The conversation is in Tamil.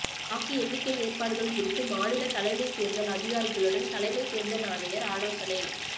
வாக்கு எண்ணிக்கை ஏற்பாடுகள் குறித்து மாநில தலைமை தேர்தல் அதிகாரிகளுடன் தலைமை தேர்தல் ஆணையர் ஆலோசனை